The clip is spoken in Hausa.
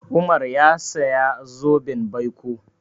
Umar ya saya zoben baiko.